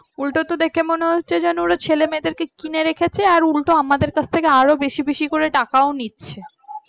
উল্টো তো দেখে মনে হচ্ছে যেন ওরা ছেলেমেয়েদের কিনে রেখেছে আর উল্টে আমাদের কাছ থেকে বেশি বেশি করে টাকাও নিচ্ছে